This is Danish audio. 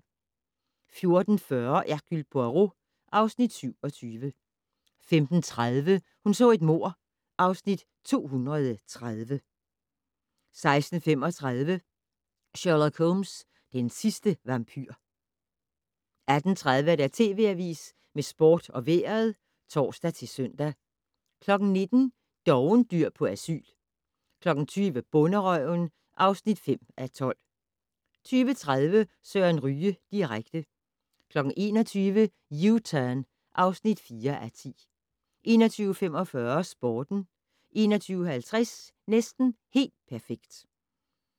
14:40: Hercule Poirot (Afs. 27) 15:30: Hun så et mord (Afs. 230) 16:15: Sherlock Holmes: Den sidste vampyr 18:30: TV Avisen med sport og vejret (tor-søn) 19:00: Dovendyr på asyl 20:00: Bonderøven (5:12) 20:30: Søren Ryge direkte 21:00: U-Turn (4:10) 21:45: Sporten 21:50: Næsten helt perfekt